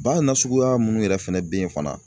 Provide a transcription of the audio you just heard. Ba nasuguya minnu yɛrɛ fɛnɛ bɛ yen fana.